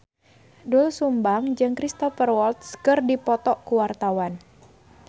Doel Sumbang jeung Cristhoper Waltz keur dipoto ku wartawan